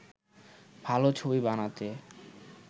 ভালো ছবি বানাতে